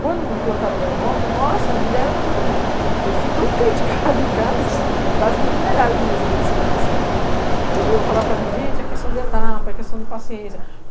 Quando implantaram vai e volta, nossa, me deram um... eu fui tão criticada em casa, quase que me aqui no Júlio da Semana Santa, porque eu falava para as meninas, gente, é questão de etapa, é questão de paciência.